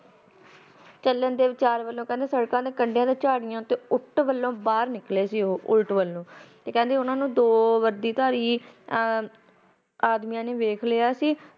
ਤੇ ਉਨਾ ਨੇ ਚੱਲਣ ਦੇ ਵਿਚਾਰ ਵੱਲੋ ਕਹਿੰਦੇ ਸੜਕਾ ਦੇ ਕੰਡੇ ਤੇ ਝਾੜਿਆ ਤੋ ਉਲਟ ਵੱਲੋ ਬਾਹਰ ਨਿਕਲੇ ਸੀ ਕਹਿੰਦੇ ਉਨਾ ਨੂੰ ਦੋ ਵੱਡੀ ਤਾਰੀ ਆਦਮੀ ਨੇ ਵੇਖ ਲਿਆ ਸੀ